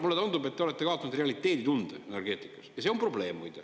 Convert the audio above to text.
Mulle tundub, et te olete kaotanud realiteeditunde energeetikas ja see on probleem, muide.